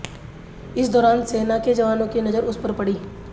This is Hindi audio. इस दौरान सेना के जवानों की नजर उस पर पड़ी